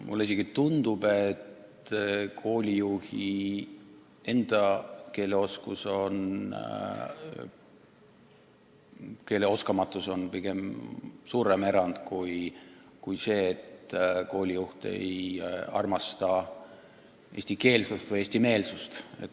Mulle isegi tundub, et koolijuhi oskamatus eesti keelt rääkida on pigem suurem erand kui see, et koolijuht ei armasta eestikeelsust või eestimeelsust.